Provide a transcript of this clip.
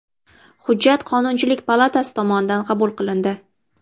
Hujjat Qonunchilik palatasi tomonidan qabul qilindi.